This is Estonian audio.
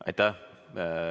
Aitäh!